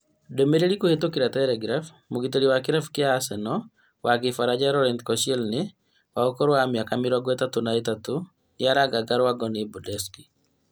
Ndũmĩrĩri kũhetũkĩra telegraph, mũgitĩri wa kĩrabu kĩa Arsenal wa kĩfaranja Laurent Koscienly wa ũkũrũ wa mĩaka mĩrongo ĩtatũ na ĩtatũ nĩraranganga rangwo nĩ Bordeaux